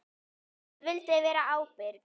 Ég vildi vera ábyrg.